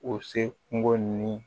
O se kungo ni